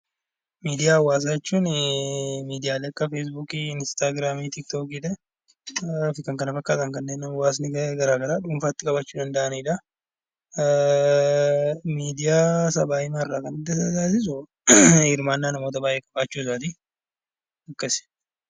Miidiyaalee hawaasaa jechuun miidiyaalee akka feesbuukii, instaagiraamii, tiiktookii fi kan kana fakkaatan kan hawaasni garaagaraa dhuunfaatti qabaachuu danda'anidha. Miidiyaa sabaa kan adda taasisu hirmaannaa namoota baay'ee qabaachuu isaati.